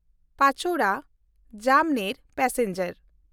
Pachora Jamner passenger